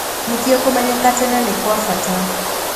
Nĩkĩo kũmenyeka tene nĩ kwabata